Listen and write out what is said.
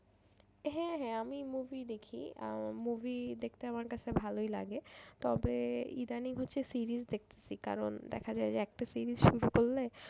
হ্যাঁ হ্যাঁ আমি movie দেখি আহ movie দেখতে আমার কাছে ভালোই লাগে তবে ইদানিং হচ্ছে series দেখতেছি কারণ দেখা যায় যে একটা series শুরু করলে।